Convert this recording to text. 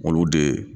Olu de